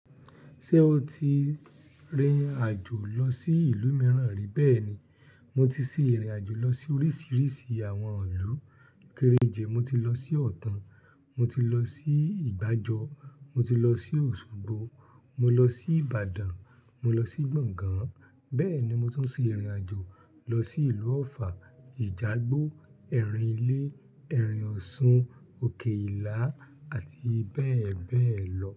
Ṣé o ti rìnrìn àjò lọ sí ìlú mìíràn rí? Bẹ́ẹ̀ni, mo ti ṣe ìrìn àjò lọ sí oríṣiríṣi àwọn ìlú. Kéré ìjẹ́ mo ti lọ sí Ọ̀tàn, mo ti lọ sí ìgbàjọ, mo ti lọ sí Osogbo, mo lọ sí Ibadan, mo lọ sí Gbọ̀ngán. Bẹ́ẹ̀ni, mo tún sì rìnrìn àjò lọ sí ìlú Ofà, Ìjàgbó, Ẹ̀rìn lé, Ẹ̀rìn ọ̀ṣun, òkè ìlà àti bẹ́ẹ̀ bẹ́ẹ̀ lọ.